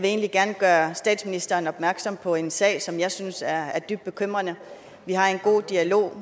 egentlig gerne gøre statsministeren opmærksom på en sag som jeg synes er er dybt bekymrende vi har en god dialog